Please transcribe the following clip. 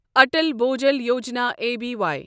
Atal Bhujal Yojana اَبے